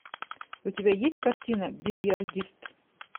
у тебя есть картина бильярдист